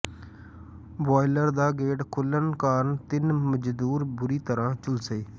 boiler ਦਾ gate ਖੁੱਲਣ ਕਾਰਨ ਤਿੰਨ ਮਜ਼ਦੂਰ ਬੁਰ੍ਹੀ ਤਰ੍ਹਾਂ ਝੁਲਸੇ